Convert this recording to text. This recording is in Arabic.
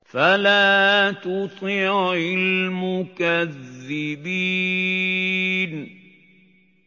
فَلَا تُطِعِ الْمُكَذِّبِينَ